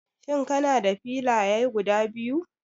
Shin kana da filaya guda biyu?